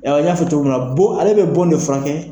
n y'a fo cogo min na bon ale be bon de furakɛ